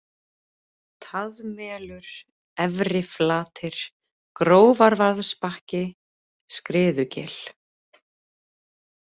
Taðmelur, Efriflatir, Grófarvaðsbakki, Skriðugil